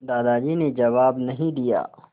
दादाजी ने जवाब नहीं दिया